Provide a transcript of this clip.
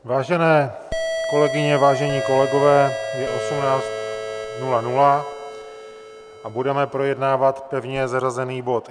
Vážené kolegyně, vážení kolegové, je 18.00 a budeme projednávat pevně zařazený bod